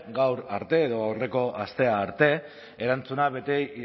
gaur arte edo aurreko astea arte erantzuna beti